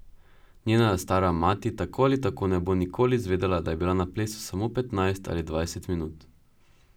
Njena stara mati tako ali tako ne bo nikoli izvedela, da je bila na plesu samo petnajst ali dvajset minut.